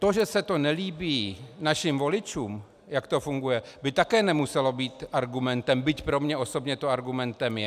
To, že se to nelíbí našim voličům, jak to funguje, by také nemuselo být argumentem, byť pro mne osobně to argumentem je.